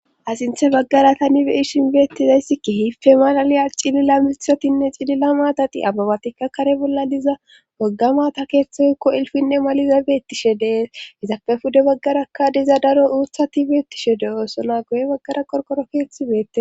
Sinthe baggara tani beishin beettizayssikki hiffe malaliya cilila mithotinne cilila maatati ababatikka kare bolla diza wagga mata keeththekko ilfinne maliza beettishe deeshizape fude baggarakka diza daro uuthati beettishe de oosona goye baggara qorqorokeethi beettie.